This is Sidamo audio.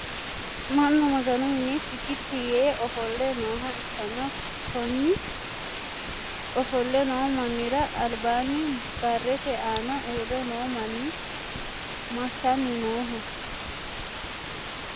Mannu maganu minne sikiti yee ofole nooha ikanna konni ofole noo mannira albaanni barete aanna uure noo manni masanni Nooho?